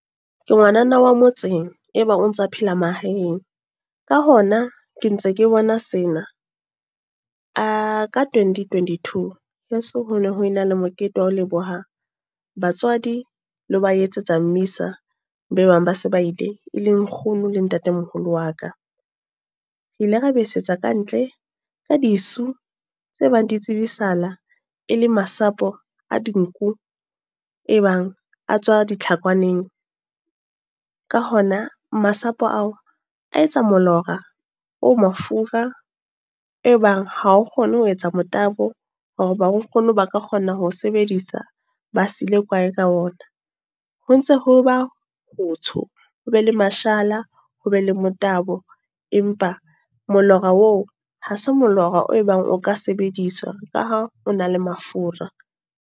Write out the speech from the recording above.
Ke ngwanana wa motseng. E bang o ntsa phela mahaeng. Ka hona, ke ntse ke bona sena. Ka twenty twenty-two. Heso hono ho ena le mokete wa ho leboha batswadi, le ho ba etsetsa mmisa, be bang ba se ba ile. E leng nkgono le ntatemoholo wa ka. Re ile ra bese tsa kantle, ka disu, tse bang di tsebasahala e le masapo a dinku. E bang a tswa ditlhakwaneng. Ka hona masapo ao a etsa molora, o mafura. E bang ha o kgone ho etsa motabo. Hoba ba kgone hore ba ka kgona ho sebedisa, ba sile kwae ka ona. Ho ntse ho ba hotsho, ho be le mashala, ho be le motabo. Empa molora oo, ha se molora o ebang o ka sebediswa. Ka ha o na le mafura.